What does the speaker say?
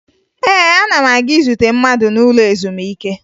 Ee, ana m aga izute mmadụ n'ụlọ ezumike